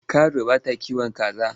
Karuwa bata kiwon kaza.